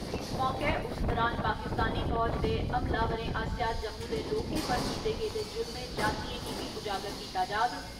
इस मौके, उस दौरान पाकिस्तानी फौज दे हमलावरें आसेया जम्मू दे लोकें पर कीते गेदे जुल्में ज्यादतियें गी बी उजागर कीता जाग।